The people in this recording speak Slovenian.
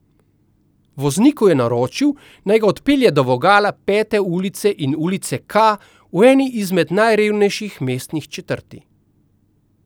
Vozniku je naročil, naj ga odpelje do vogala Pete ulice in Ulice K, v eni izmed najrevnejših mestnih četrti.